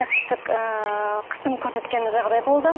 нәсіптік ыыы қысым көрсеткен жағдай болды